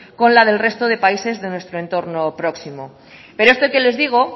con la del resto de países de nuestro entorno próximo pero esto que les digo